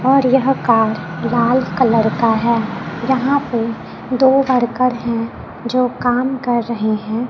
और यह कार लाल कलर का है यहां पे दो वर्कर हैं जो काम कर रहे हैं।